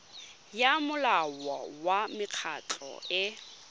ya molao wa mekgatlho e